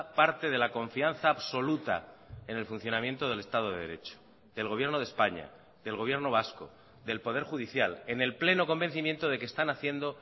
parte de la confianza absoluta en el funcionamiento del estado de derecho del gobierno de españa del gobierno vasco del poder judicial en el pleno convencimiento de que están haciendo